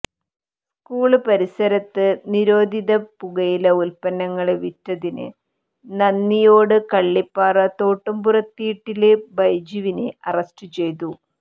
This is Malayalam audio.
സ്ക്കൂള്പരിസരത്ത് നിരോധിതപുകയില ഉല്പ്പന്നങ്ങള് വിറ്റതിന് നന്ദിയോട് കള്ളിപ്പാറ തോട്ടുംപുറത്ത്വീട്ടില് ബൈജുവിനെ അറസ്റ്റ്ചെയ്തു